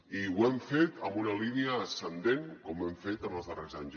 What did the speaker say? i ho hem fet amb una línia ascendent com hem fet en els darrers anys